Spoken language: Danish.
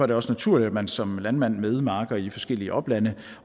det også naturligt at man som landmand med marker i forskellige oplande